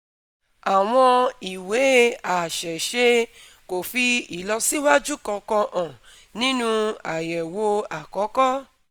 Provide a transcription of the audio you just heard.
Àwọn ìwé àṣẹ̀ṣe kò fi ìlọsíwájú kankan hàn nínú àyẹ̀wò àkọ́kọ́